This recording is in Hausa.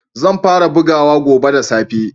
Zan fara bugawa gobe da safe.